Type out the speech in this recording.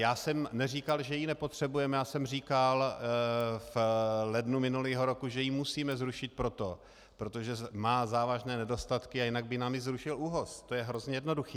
Já jsem neříkal, že ji nepotřebujeme, já jsem říkal v lednu minulého roku, že ji musíme zrušit proto, protože má závažné nedostatky a jinak by nám ji zrušil ÚOHS, to je hrozně jednoduché.